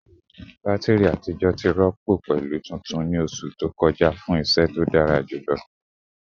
Batiri atijọ ti rọpo pẹlu tuntun ni oṣu to kọja fun iṣẹ to dara julọ